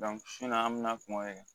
an bɛna kuma o de kan